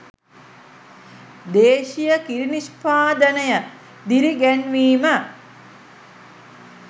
දේශීය කිරි නිෂ්පාදනය දිරිගැන්වීම